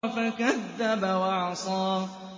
فَكَذَّبَ وَعَصَىٰ